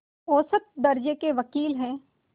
औसत दर्ज़े के वक़ील हैं